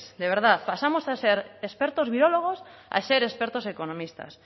de verdad pasamos de ser expertos virólogos a ser expertos economistas